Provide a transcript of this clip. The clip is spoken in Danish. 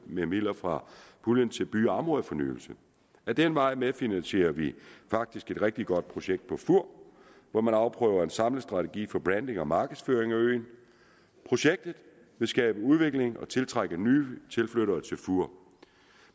med midler fra puljen til by og områdefornyelse ad den vej medfinansierer vi faktisk et rigtig godt projekt på fur hvor man afprøver en samlet strategi for branding og markedsføring af øen projektet vil skabe udvikling og tiltrække nye tilflyttere til fur